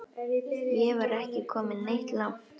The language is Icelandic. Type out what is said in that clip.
Ég var ekki kominn neitt langt.